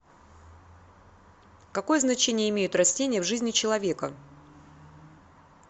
какое значение имеют растения в жизни человека